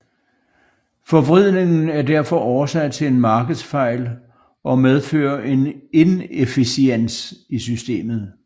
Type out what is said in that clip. Forvridningen er derfor årsag til en markedsfejl og medfører en inefficiens i systemet